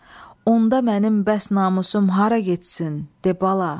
Onda mənim bəs namusum hara getsin, de bala.